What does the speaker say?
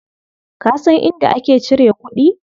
Ka san inda ake cire kuɗi?